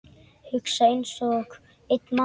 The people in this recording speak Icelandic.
Hugsa einsog einn maður.